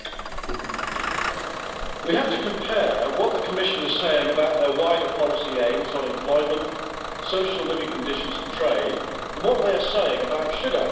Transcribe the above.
Mr President, we have to compare what the Commission is saying about their wider policy aims on employment, social living conditions and trade, and what they are saying about sugar.